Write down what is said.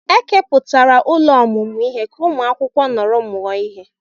Ekepụtara ụlọ ọmụmụ ihe ka ụmụ akwụkwọ nọrọ mụọ ihe.